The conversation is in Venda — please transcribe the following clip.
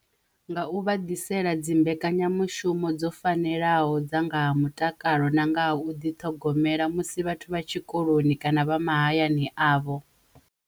Nga u vha ḓisela dzi mbekanyamushumo dzo fanelaho dza nga ha mutakalo na nga ha u ḓi ṱhogomela musi vhathu vha tshikoloni kana vha mahayani avho.